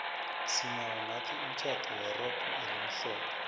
sinawo nathi umtjhado werogo elimhlophe